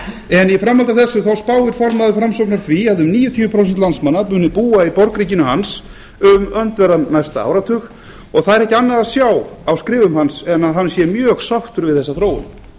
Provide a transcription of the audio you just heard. formaður framsóknar því að um níutíu prósent landsmanna muni búa í borgríkinu hans um öndverðan næsta áratug og það er ekki annað að sjá á skrifum hans en að hann sé mjög sáttur við þessa þróun